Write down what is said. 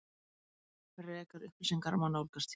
Frekari upplýsingar má nálgast hér